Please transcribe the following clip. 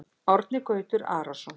Árni Gautur Arason